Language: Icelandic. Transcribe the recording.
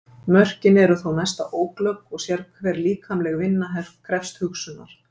Mörkin eru þó næsta óglögg og sérhver líkamleg vinna krefst hugsunar.